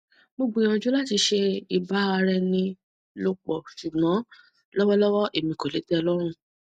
mo gbiyanju lati ṣe iba ara eni lopo ṣugbọn lọwọlọwọ emi ko le tẹ e lọrun